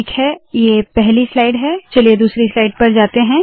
ठीक है ये पहली स्लाइड है चलिए दूसरी स्लाइड पर जाते है